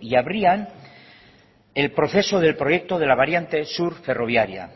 y abrían el proceso del proyecto de la variante sur ferroviaria